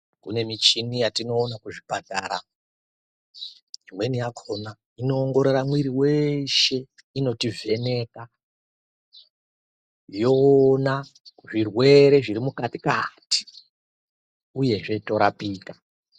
Kune michini yatinoona kuzvipatara imweni yakona inoongorora mwiri weshe inotovheneka yoona zvirwere zviri mukati kati uyezve zveitorapika.